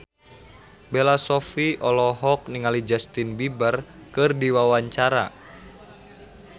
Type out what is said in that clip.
Bella Shofie olohok ningali Justin Beiber keur diwawancara